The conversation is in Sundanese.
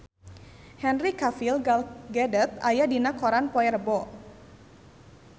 Henry Cavill Gal Gadot aya dina koran poe Rebo